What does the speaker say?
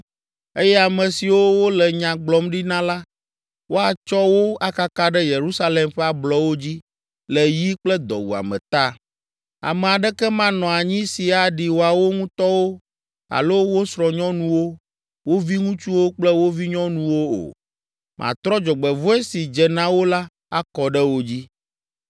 eye ame siwo wole nya gblɔm ɖi na la, woatsɔ wo akaka ɖe Yerusalem ƒe ablɔwo dzi le yi kple dɔwuame ta. Ame aɖeke manɔ anyi si aɖi woawo ŋutɔwo alo wo srɔ̃nyɔnuwo, wo viŋutsuwo kple wo vinyɔnuwo o. Matrɔ dzɔgbevɔ̃e si dze na wo la, akɔ ɖe wo dzi.’